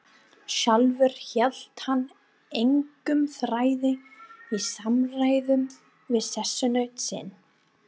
Sjálfur hélt hann engum þræði í samræðum við sessunaut sinn.